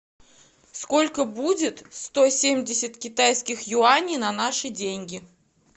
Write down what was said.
сколько будет сто семьдесят китайских юаней на наши деньги